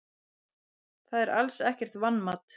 Það er alls ekkert vanmat.